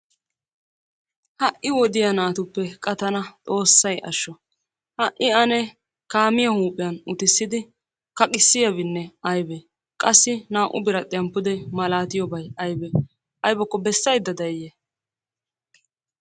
Ha'i wodiya naatuppe qa tana xoosay asho, ha'i ane kaamiya huuphiyanne uttid=ssidi kaqqiyabinne aybee? qassi naa"u biradhiya saluwa malaatiyobay aybee? aybakko besaydda dayiyee?